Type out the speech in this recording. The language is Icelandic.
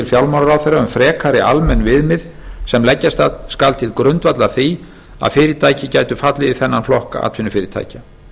fjármálaráðherra um frekari almenn viðmið sem leggja skal til grundvallar því að fyrirtæki gætu fallið í þennan flokk atvinnufyrirtækja